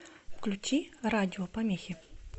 включи радиопомехи